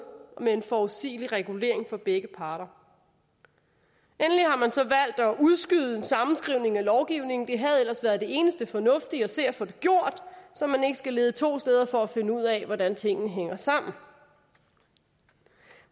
med en forudsigelig regulering for begge parter endelig har man så valgt at udskyde en sammenskrivning af lovgivningen det havde ellers været det eneste fornuftige at se og få det gjort så man ikke skal lede to steder for at finde ud af hvordan tingene hænger sammen